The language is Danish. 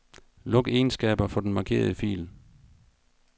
Luk egenskaber for den markerede fil.